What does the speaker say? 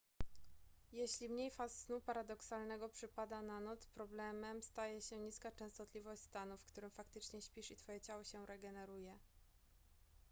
jeśli mniej faz snu paradoksalnego przypada na noc problemem staje się niska częstotliwość stanu w którym faktycznie śpisz i twoje ciało się regeneruje